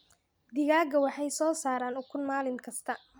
Digaagga waxay soo saaraan ukun maalin kasta.